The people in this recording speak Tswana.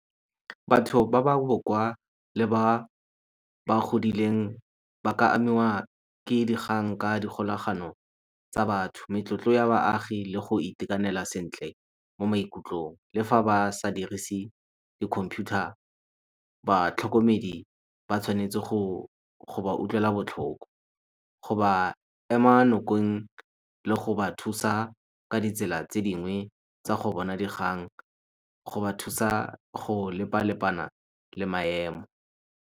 Batho ba ba le ba ba godileng ba ka amiwa ke dikgang ka dikgolagano tsa batho, ya baagi le go itekanela sentle mo maikutlong le fa ba sa dirise di-computer batlhokomedi ba tshwanetse go go ba utlwela botlhoko, go ba ema nokeng le go ba thusa ka ditsela tse dingwe tsa go bona dikgang go ba thusa go lepa-lepana le maemo.